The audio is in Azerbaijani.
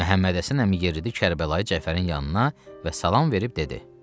Məhəmmədhəsən əmi yeridi Kərbəlayı Cəfərin yanına və salam verib dedi: